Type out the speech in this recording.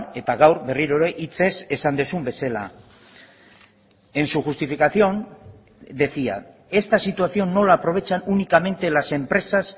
eta gaur berriro ere hitzez esan duzun bezala en su justificación decía esta situación no la aprovechan únicamente las empresas